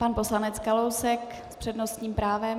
Pan poslanec Kalousek s přednostním právem.